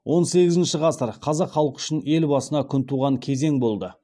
он сегізінші ғасыр қазақ халқы үшін ел басына күн туған кезең болды